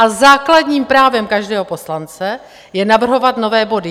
A základním právem každého poslance je navrhovat nové body.